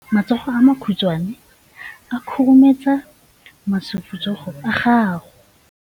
Matsogo a makhutshwane a khurumetsa masufutsogo a gago.